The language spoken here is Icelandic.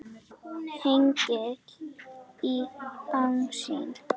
Hengill í baksýn.